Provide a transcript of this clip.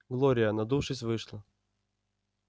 глория надувшись вышла